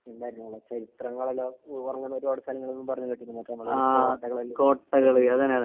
എന്തായിരുന്നു അത് ചരിത്രങ്ങളെല്ലാം ഉ ഉറങ്ങുന്ന ഒരുപാട് സ്ഥലങ്ങള്ന്ന് പറഞ്ഞ് കേട്ട്ക്കുണു മറ്റേ കോട്ടകളെല്ലാം. ആഹ്